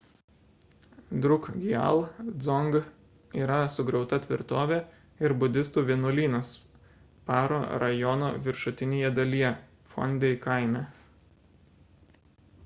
drukgyal dzong yra sugriauta tvirtovė ir budistų vienuolynas paro rajono viršutinėje dalyje phondey kaime